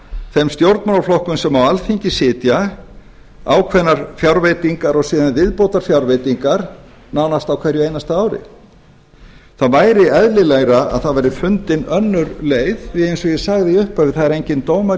þeim stjórnmálaflokkum sem á alþingi sitja ákveðnar fjárveitingar og síðan viðbótarfjárveitingar nánast á hverju einasta ári það væri eðlilegra að það væri fundin önnur leið því að eins og ég sagði í upphafi það er enginn dómari í